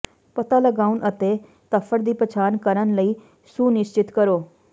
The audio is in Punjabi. ਪਤਾ ਲਗਾਉਣ ਅਤੇ ਧੱਫੜ ਦੀ ਪਛਾਣ ਕਰਨ ਲਈ ਸੁਨਿਸ਼ਚਿਤ ਕਰੋ